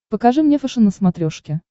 покажи мне фэшен на смотрешке